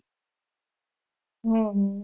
હમ